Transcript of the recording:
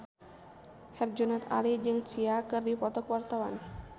Herjunot Ali jeung Sia keur dipoto ku wartawan